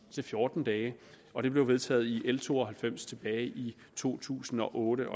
til fjorten dage og det blev vedtaget i l to og halvfems tilbage i to tusind og otte